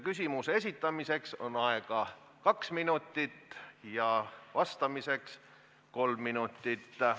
Küsimuse esitamiseks on aega kaks minutit ja vastamiseks kolm minutit.